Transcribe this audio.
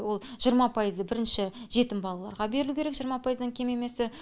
ол жиырма пайызы бірінші жетім балаларға берілу керек жиырма пайыздан кем емесі